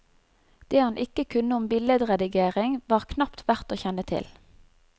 Det han ikke kunne om billedredigering, var knapt verdt å kjenne til.